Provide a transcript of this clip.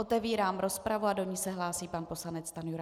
Otevírám rozpravu a do ní se hlásí pan poslanec Stanjura.